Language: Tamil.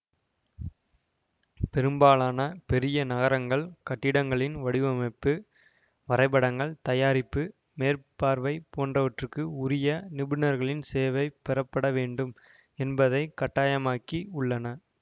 பெரும்பாலான பெரிய நகரங்கள் கட்டிடங்களின் வடிவமைப்பு வரைபடங்கள் தயாரிப்பு மேற்பார்வைபோன்றவற்றுக்கு உரிய நிபுணர்களின் சேவை பெறப்படவேண்டும் என்பதை கட்டாயமாக்கி உள்ளன